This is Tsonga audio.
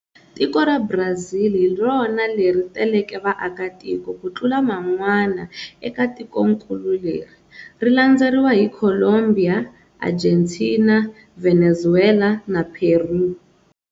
Tiko ra Brazil hirona leri teleke vaakatiko kutlula man'wana eka tikonkulu leri, rilandzeriwa hi Colombiya, Argentina, Venezuwela na Peru.